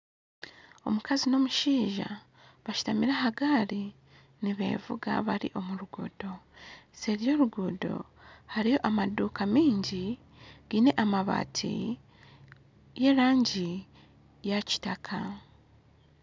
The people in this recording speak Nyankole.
Omukazi n'omushaija bashitamire aha gaari nibevuga bari omu ruguudo, seeri y'oruguudo hariyo amaduuka mingi giine amabaati y'erangi ya kitaka.